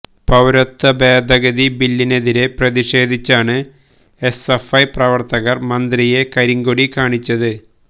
പൌരത്വ ഭേദഗതി ബില്ലിനെതിരെ പ്രതിഷേധിച്ചാണ് എസ്എഫ്ഐ പ്രവര്ത്തകര് മന്ത്രിയെ കരിങ്കൊടി കാണിച്ചത്